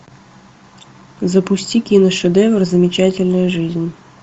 запусти киношедевр замечательная жизнь